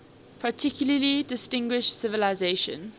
particularly distinguished civilization